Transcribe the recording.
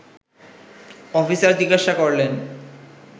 officer জিজ্ঞাসা করলেন